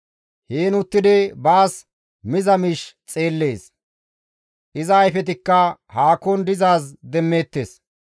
Heen uttidi baas miza miish xeellees; iza ayfetikka haakon dizaaz demmeettes.